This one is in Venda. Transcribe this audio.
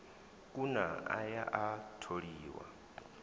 kuna a ya a tholiwa